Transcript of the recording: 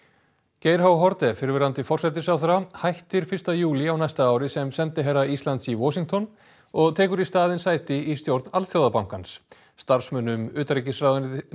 Geir h Haarde fyrrverandi forsætisráðherra hættir fyrsta júlí á næsta ári sem sendiherra Ísland s í Washington og tekur í staðinn sæti í stjórn Alþjóðabankans starfsmönnum utanríkisráðuneytisins